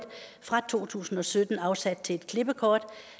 fra to tusind og sytten afsat til et klippekort